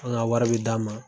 N be ka n ka wari bɛɛ d'a ma